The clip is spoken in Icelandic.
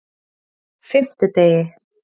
fimmtudegi